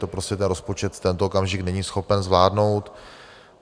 To prostě ten rozpočet v tento okamžik není schopen zvládnout.